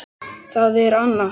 Það er Anna.